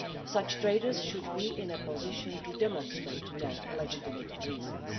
so. Such traders should be in a position to demonstrate their legitimate reasons.